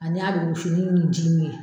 Ani a bɛ wusu ni nin ji ye